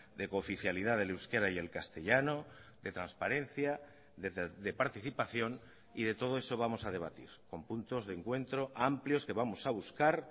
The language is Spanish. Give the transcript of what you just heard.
de cooficialidad del euskera y el castellano de transparencia de participación y de todo eso vamos a debatir con puntos de encuentro amplios que vamos a buscar